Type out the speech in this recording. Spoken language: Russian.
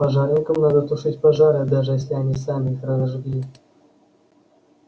пожарникам надо тушить пожары даже если они сами их разожгли